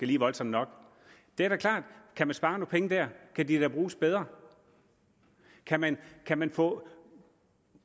lige voldsomt nok det er da klart at kan man spare nogle penge dér kan de da bruges bedre kan man kan man få